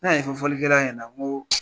Ne y'a ɲɛfɔ fɔlikɛla ɲɛna ko